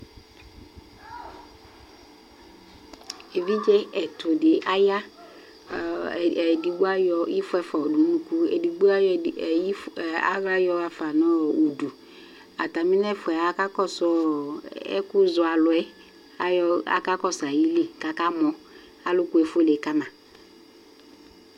Evidze ɛtʋ di aya Ɔɔ, ɛdigbo ayɔ ifɔ ɛfua yɔdʋ nʋ unʋku, edigbo ayɔ ɛdi ɔɔ ifɔ ɔɔ aɣla yɔɣafa nʋ udu Atami n'ɛfua yɛ akakɔsʋ ɔɔ ɛkʋ zɔ alʋ yɛ ayɔ, akakɔsʋ ayili kakamɔ Alʋkʋ efuele kama